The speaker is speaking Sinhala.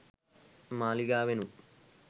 මාලිගාවෙනුත්